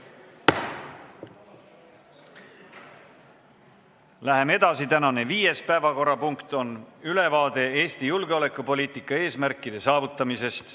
Läheme edasi: tänane viies päevakorrapunkt on ülevaade Eesti julgeolekupoliitika eesmärkide saavutamisest.